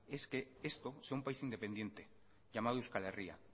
es que esto sea un país independiente llamado euskal herrria